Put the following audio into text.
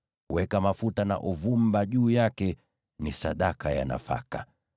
Weka mafuta na uvumba juu yake; ni sadaka ya nafaka.